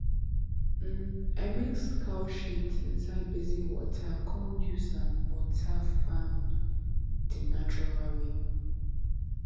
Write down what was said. um i mix cow shit inside basin water come use am water farm di natural way